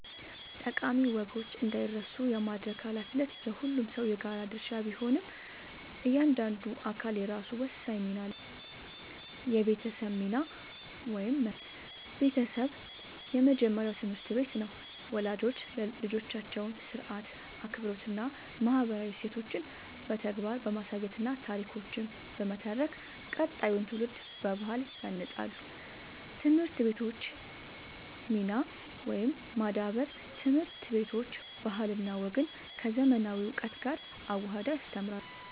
ጠቃሚ ወጎች እንዳይረሱ የማድረግ ኃላፊነት የሁሉም ሰው የጋራ ድርሻ ቢሆንም፣ እያንዳንዱ አካል የራሱ ወሳኝ ሚና አለው፦ የቤተሰብ ሚና (መሠረት)፦ ቤተሰብ የመጀመሪያው ትምህርት ቤት ነው። ወላጆች ልጆቻቸውን ሥርዓት፣ አክብሮትና ማህበራዊ እሴቶችን በተግባር በማሳየትና ታሪኮችን በመተረክ ቀጣዩን ትውልድ በባህል ያንጻሉ። የትምህርት ቤቶች ሚና (ማዳበር)፦ ትምህርት ቤቶች ባህልና ወግን ከዘመናዊ እውቀት ጋር አዋህደው ያስተምራሉ።